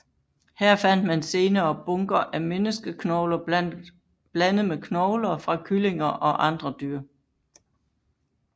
Her fandt man senere bunker af menneskeknogler blandet med knogler fra kyllinger og andre dyr